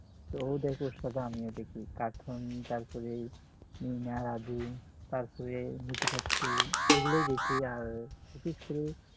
তো ওদের সাথে আমিও দেখি cartoon তারপরে মিনা রাজু তারপরে মটু পাটলু এগুলোই দেখি আর বিশেষ করে